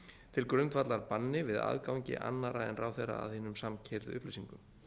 til grundvallar banni við aðgangi annarra en ráðherra að hinum samkeyrðu upplýsingum